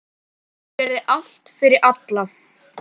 Hún gerði allt fyrir alla.